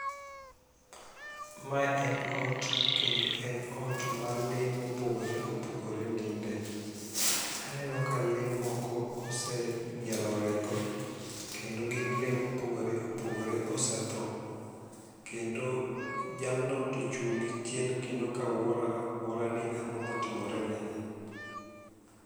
Me en ot, kendo en ot ma lee ma opogore opogore ninde, aneno ka lee moko oseng'ielo orengo, kendo gin lee ma opogoro opogore osethoo, kendo jalno to ochung' gi chien ka owuoro awuora ni ang'o ma otimoreni.